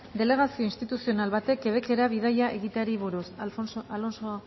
delegazio instituzional batek quebec era bidaia egiteari buruz alonso